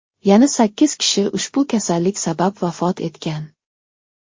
Yana sakkiz kishi ushbu kasallik sabab vafot etgan.